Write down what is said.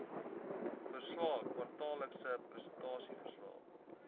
verslae kwartaallikse prestasieverslae